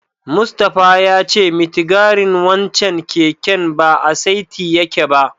Mustapha ya ce mitigarin wancen keken ba a saiti yake ba.